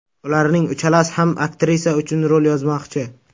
Ularning uchalasi ham aktrisa uchun rol yozmoqchi.